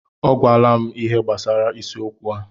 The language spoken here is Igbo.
O gwala m ihe gbasara isiokwu a.